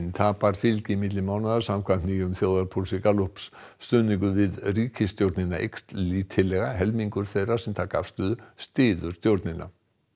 tapar fylgi milli mánaða samkvæmt nýjum þjóðarpúlsi Gallups stuðningur við ríkisstjórnina eykst lítillega helmingur þeirra sem taka afstöðu styður stjórnina